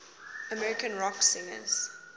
american rock singers